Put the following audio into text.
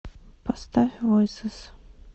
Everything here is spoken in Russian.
поставь войсес